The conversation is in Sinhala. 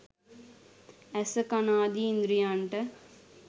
ඇස, කන ආදි ඉන්ද්‍රියන්ට